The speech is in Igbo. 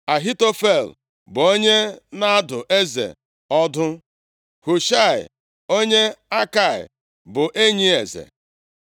Ahitofel bụ onye na-adụ eze ọdụ. Hushaị onye Akai bụ enyi eze.